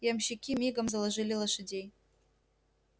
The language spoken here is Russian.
ямщики мигом заложили лошадей